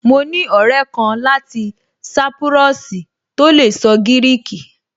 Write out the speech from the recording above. Mo ní ọ̀rẹ́ kan láti sápúrọ́ọ̀sì tó lè sọ gíríkì